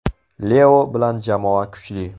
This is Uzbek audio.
Leo bilan jamoa kuchli.